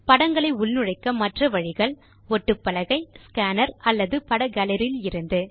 படங்களை உள்நுழைக்க மற்ற வழிகள் ஒட்டுப்பலகை ஸ்கேனர் அல்லது பட காலரியிலிருந்து